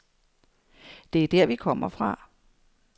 Det er der, vi kommer fra.